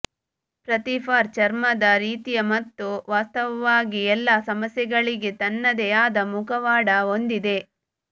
ಪ್ರತಿ ಫಾರ್ ಚರ್ಮದ ರೀತಿಯ ಮತ್ತು ವಾಸ್ತವವಾಗಿ ಎಲ್ಲಾ ಸಮಸ್ಯೆಗಳಿಗೆ ತನ್ನದೇ ಆದ ಮುಖವಾಡ ಹೊಂದಿದೆ